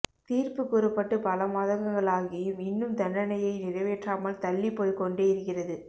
தீர்ப்பு கூறப்பட்டு பல மாதங்களாகியும் இன்னும் தண்டனையை நிறைவேற்றாமல் தள்ளிப் போய்க்கொண்டே இருக்கிறது